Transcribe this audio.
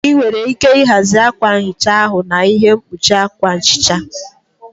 Ị nwere ike ịhazi akwa nhicha ahu na ihe mkpuchi akwa nhicha.